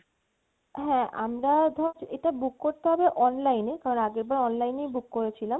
হ্যা আমরাও ধর এটা book করতে হবে online, কারণ আগেরবারও online book করেছিলাম